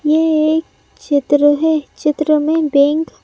ये एक चित्र है चित्र में बैंक --